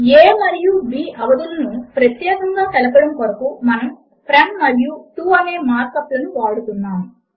a మరియు b అవధులను ప్రత్యేకముగా తెలపడము కోరకు మనము ఫ్రోమ్ మరియు టో అనే మార్క్ అప్ లను వాడుతున్నాము